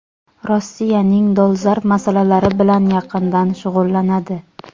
Rossiyaning dolzarb masalalari bilan yaqindan shug‘ullanadi.